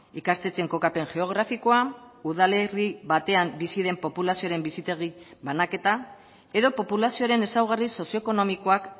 ikastetxeen kokapen geografikoa udalerri batean bizi den populazioaren bizitegi banaketa edo populazioaren ezaugarri sozioekonomikoak